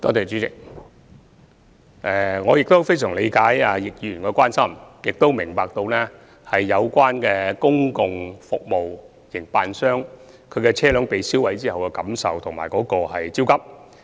主席，我非常理解易議員的關心，也明白公共服務營辦商被燒毀車輛後的感受和焦急。